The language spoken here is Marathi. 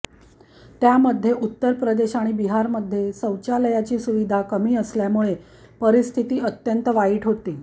त्यामध्ये उत्तर प्रदेश आणि बिहारमध्ये शौचालयाची सुविधा कमी असल्यामुळे परिस्थिती अत्यंत वाईट होती